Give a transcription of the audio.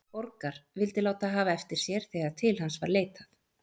Borgar, vildi láta hafa eftir sér þegar til hans var leitað,.